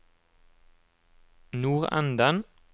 nordenden